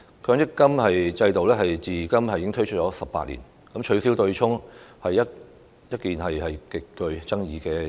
強積金制度推出至今超過18年，取消對沖機制一直極具爭議。